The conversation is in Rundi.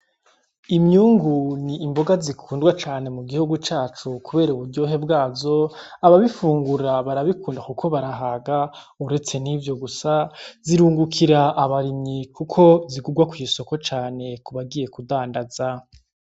Imyungu n'imboga zikundwa cane mugihugu cacu kubera uburyohe bwazo, Ababifungura barabikunda kuko barahaga uretse nivyo gusa zirungukira abarimyi kuko zigurwa kw'isoko cane kubagiye kudandaza .